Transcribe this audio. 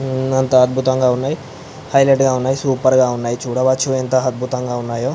అంత అద్భుతంగా ఉన్నాయి హైలైట్గా ఉన్నాయి సూపర్ గ ఉన్నాయి చూడవచ్చు యెంత అద్భుతంగా ఉన్నైయో --